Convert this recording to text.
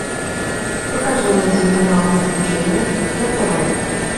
покажи мне телеканал приключения на тв